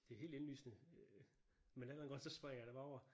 Det helt indlysende øh men af en eller anden grund så springer jeg det bare over